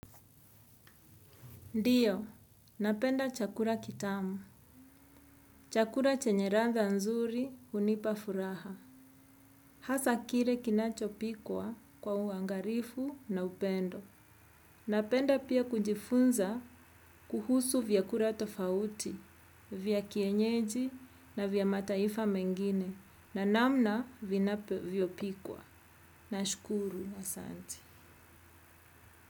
Ndio, napenda chakula kitamu. Chakula chenye ladha nzuri hunipa furaha. Hasa kile kinachopikwa kwa uangalifu na upendo. Napenda pia kujifunza kuhusu vyakula tofauti, vya kienyeji na vya mataifa mengine na namna vinavyopikwa. Nashukuru asanti.